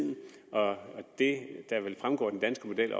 og det der vil fremgå af den danske model